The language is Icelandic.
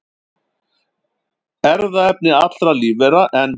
Erfðaefni allra lífvera, en